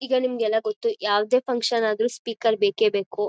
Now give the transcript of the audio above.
ಈಗ ನಿಮಗೆ ಎಲ್ಲ ಗೊತ್ತು ಯಾವದೇ ಫನ್ಕ್ಷನ್ ಆದ್ರೂ ಸ್ಪೀಕರ್ ಬೇಕೇ ಬೇಕು